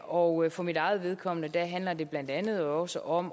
og for mit eget vedkommende handler det blandt andet også om